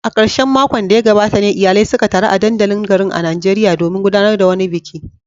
A karshen makon da ya gabata ne iyalai suka taru a dandalin garin a Najeriya domin gudanar da wani biki.